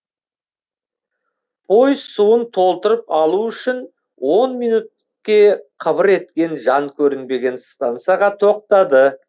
пойыз суын толтырып алу үшін он минутке қыбыр еткен жан көрінбеген стансаға тоқтады